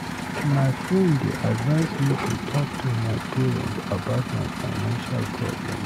My friend dey advise me to talk to my parent about my financial problems.